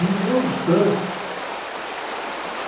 E outros tantos.